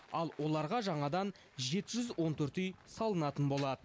ал оларға жаңадан жеті жүз он төрт үй салынатын болады